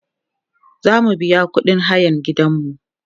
zamu biya ƙuɗin hayan gidanmu